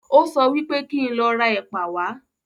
Ó sọ wípé kí n lọ ra ẹ̀pà wá